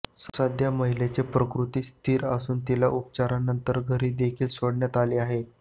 सध्या महिलेची प्रकृती स्थिर असून तिला उपचारानंतर घरीदेखील सोडण्यात आलं आहे